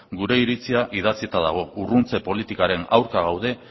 gure iritzia idatzita dago urruntze politikaren aurka gaude